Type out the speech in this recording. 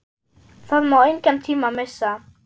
Það má engan tíma missa!